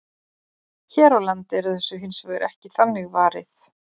Hér á landi er þessu hins vegar ekki þannig varið.